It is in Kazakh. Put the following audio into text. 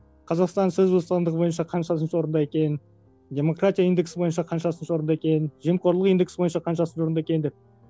қазақстан сөз бостандығы бойынша қаншасыншы орында екен демократия индексі бойынша қаншасыншы орында екен жемқорлық индексі бойынша қаншасыншы орында екен деп